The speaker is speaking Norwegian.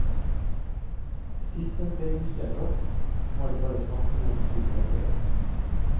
Sist den ble justert opp, var det bare snakk om noen tiendels ører.